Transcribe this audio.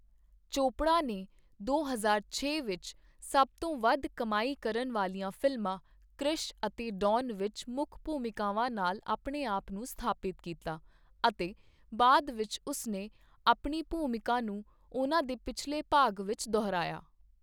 ਚੋਪੜਾ ਨੇ ਦੋ ਹਜ਼ਾਰ ਛੇ ਵਿੱਚ ਸਭ ਤੋਂ ਵੱਧ ਕਮਾਈ ਕਰਨ ਵਾਲੀਆਂ ਫਿਲਮਾਂ ਕ੍ਰਿਸ਼ ਅਤੇ ਡੌਨ ਵਿੱਚ ਮੁੱਖ ਭੂਮਿਕਾਵਾਂ ਨਾਲ ਆਪਣੇ ਆਪ ਨੂੰ ਸਥਾਪਿਤ ਕੀਤਾ, ਅਤੇ ਬਾਅਦ ਵਿੱਚ ਉਸ ਨੇ ਆਪਣੀ ਭੂਮਿਕਾ ਨੂੰ ਉਨ੍ਹਾਂ ਦੇ ਪਿਛਲੇ ਭਾਗ ਵਿੱਚ ਦੁਹਰਾਇਆ।